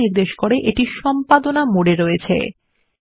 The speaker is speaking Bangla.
যা নির্দেশ করে এইটি সম্পাদনা মোডে রয়েছে